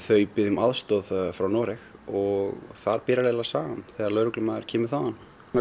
þau biðja um aðstoð frá Noregi og þar byrjar sagan þegar lögreglumaður kemur þaðan